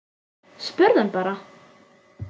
Spurðu hann bara.